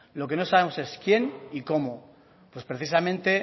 lo que no sabemos es quién y cómo pues precisamente